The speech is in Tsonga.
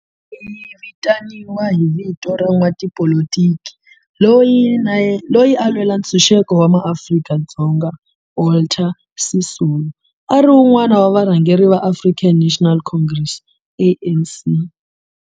Ndhawo leyi yi vitaniwa hi vito ra n'watipolitiki loyi na yena a lwela ntshuxeko wa maAfrika-Dzonga Walter Sisulu, a ri wun'wana wa varhangeri va African National Congress, ANC.